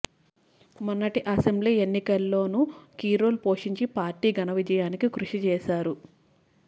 మొన్నటి అసెంబ్లీ ఎన్నికల్లోనూ key role పోషించి పార్టీ ఘనవిజయానికి కృషి చేశారు